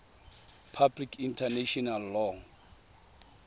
public international law